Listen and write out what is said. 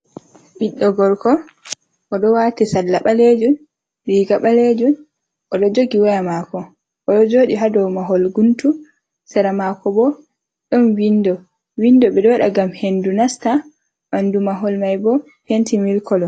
Ɓiɗɗo gorko, o ɗo wati salla ɓaleejum, riiga ɓaleejum, o ɗo jogi waya maako. O ɗo jooɗi ha dou mahol guntu, sera maako bo, ɗon windo. Windo, ɓe ɗo waɗa ngam hendu nasta. Ɓandu mahol mai bo, penti mil kolo.